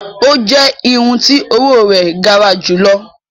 O jẹ irun ti owo rẹ gara julọ.